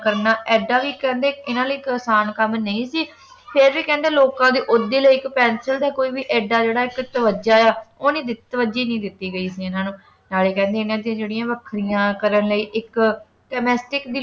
ਕਰਨਾ ਐਡਾ ਵੀ ਕਹਿੰਦੇ ਇਨ੍ਹਾਂ ਦੇ ਲਈ ਅਸਾਨ ਕੰਮ ਨਹੀਂ ਸੀ ਫੇਰ ਵੀ ਕਹਿੰਦੇ ਲੋਕਾਂ ਦੇ ਓਹਦੇ ਲਈ ਇੱਕ ਪੈਨਸਿਲ ਦਾ ਕੋਈ ਵੀ ਐਡਾ ਇੱਕ ਜਿਹੜਾ ਇੱਕ ਤਵੱਜਾ ਆ ਉਹ ਨਹੀਂ ਤਵੱਜੀ ਨਹੀਂ ਦਿੱਤੀ ਗਈ ਸੀ ਇਨ੍ਹਾਂ ਨੂੰ ਨਾਲੇ ਕਹਿੰਦੇ ਇਨ੍ਹਾਂ ਦੀ ਜਿਹੜੀ ਵੱਖਰੀਆਂ ਕਰਨ ਲਈ ਇੱਕ ਟੇਨੇਸਟਿਕ ਦੀ